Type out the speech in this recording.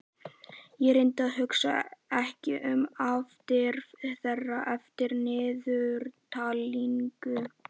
Ég reyni að hugsa ekki um afdrif þeirra eftir niðurtalningu.